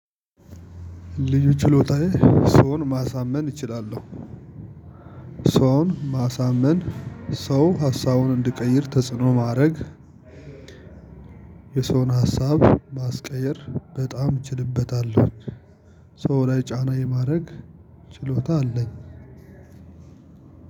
ልዩ ችሎታዬ ሰውን ማሳመን እችላለሁ። ሰውን ማሳመን ሰው ሀሳቡን እንድቀይር ተጽዕኖ ማድረግ። የሰውን ሀሳብ ማስቀየር በጣም እችልበታለሁኝ። ሰው ላይ ጫና የማድረግ ችሎታ አለኝ።